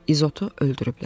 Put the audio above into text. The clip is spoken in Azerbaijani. İzotu öldürüblər.